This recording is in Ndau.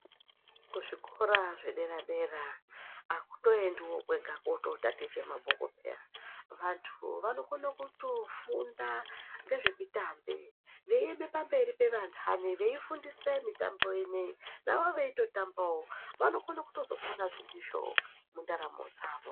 Kuzvikora zvedera dera akutoendiwi kwega kotatiiche mabhuku peyani ,vanthu vanokone kutofunda ngezvemutambo. Veime pamberi pevanthani veifundisa mitambo ineyi navo veitotambawovanokona kutozoponazve ndizvo mundaramo dzavo.